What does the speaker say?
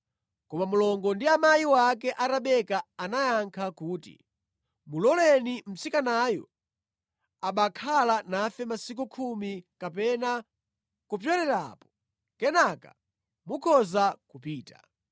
Koma mlongo wake ndi amayi ake a Rebeka anayankha kuti, “Muloleni mtsikanayu abakhala nafe masiku khumi kapena kupyolerapo, kenaka mukhoza kupita.”